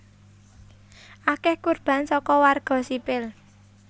Akèh kurban saka warga sipil